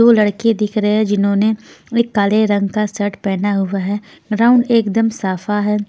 दो लड़के दिख रहे हैं जिन्होंने एक काले रंग का शर्ट पहना हुआ है राउंड एकदम साफा है.